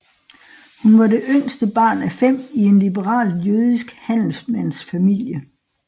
Hun var det yngste barn af fem i en liberalt jødisk handelsmands familie